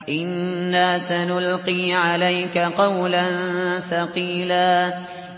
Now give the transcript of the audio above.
إِنَّا سَنُلْقِي عَلَيْكَ قَوْلًا ثَقِيلًا